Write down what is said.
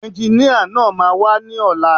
Ẹnginíà náà máa wá ní ọ̀la